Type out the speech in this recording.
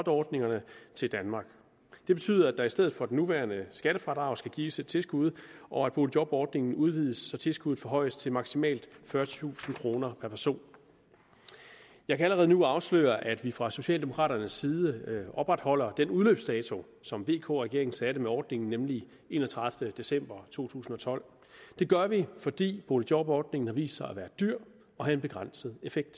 ordningerne til danmark det betyder at der i stedet for det nuværende skattefradrag skal gives et tilskud og at boligjobordningen udvides så tilskuddet forhøjes til maksimalt fyrretusind kroner per person jeg kan allerede nu afsløre at vi fra socialdemokraternes side opretholder den udløbsdato som vk regeringen satte med ordningen nemlig den enogtredivete december to tusind og tolv det gør vi fordi boligjobordningen har vist sig at være dyr og have en begrænset effekt